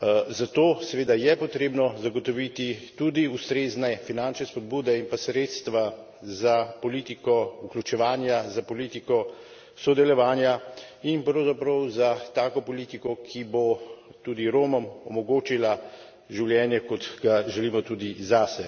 Zato seveda je potrebno zagotoviti tudi ustrezne finančne spodbude in pa sredstva za politiko vključevanja, za politiko sodelovanja in pravzaprav za tako politiko, ki bo tudi Romom omogočila življenje, kot ga želimo tudi zase.